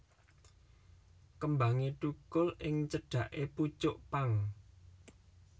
Kembangé thukul ing cedhaké pucuk pang